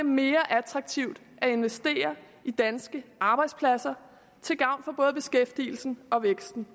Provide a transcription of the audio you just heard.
mere attraktivt at investere i danske arbejdspladser til gavn for både beskæftigelsen og væksten